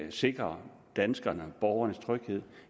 at sikre danskernes borgernes tryghed